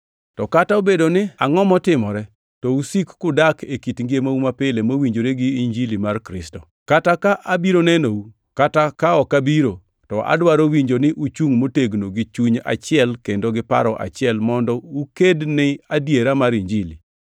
To kata obedo ni angʼo motimore, to usik kudak e kit ngimau mapile mowinjore gi Injili mar Kristo. Kata ka abiro nenou, kata ka ok abiro, to adwaro winjo ni uchungʼ motegno gi chuny achiel kendo gi paro achiel mondo ukedni adiera mar Injili,